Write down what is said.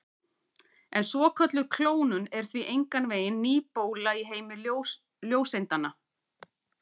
En svokölluð klónun er því engan veginn ný bóla í heimi ljóseindanna.